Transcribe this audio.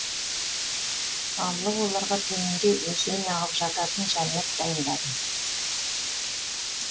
алла оларға төменде өзен ағып жататын жәннат дайындады